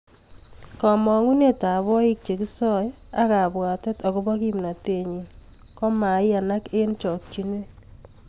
Kamang'unet ap oik chekisoe ak kabwatet akopo kimnatet nyii komaiyanak eng chokchinet